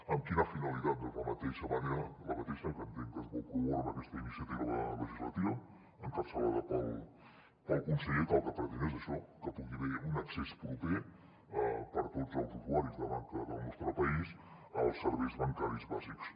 amb quina finalitat doncs la mateixa que entenc que es vol promoure amb aquesta ini·ciativa legislativa encapçalada pel conseller que el que pretén és això que hi pugui haver un accés proper per a tots els usuaris de banca del nostre país als serveis ban·caris bàsics